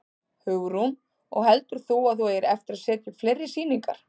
Hugrún: Og heldur þú að þú eigir eftir að setja upp fleiri sýningar?